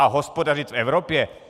A hospodařit v Evropě?